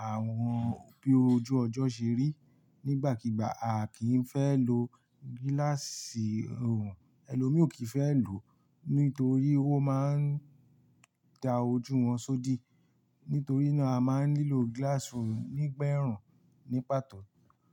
àwọn bí ojú ọjọ́ ṣe rí. Nígbàkígbà, a kì í fẹ́ lo gíláàsì ọ̀rùn, ẹlòmíò kì í fẹ́ lò ó, nítorí ó máa ń da ojú wọn sódi. Nítorí náà, a máa ń nílò gíláàsì ọ̀rùn nígbẹ̀run, ní pàtó.